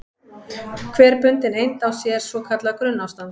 Hver bundin eind á sér svo kallað grunnástand.